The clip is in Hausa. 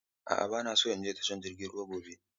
A'a ba na son in je tashar jiragen ruwa gobe.